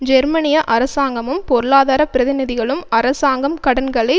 ஜெர்மனிய அரசாங்கமும் பொருளாதார பிரதிநிதிகளும் அரசாங்கம் கடன்களை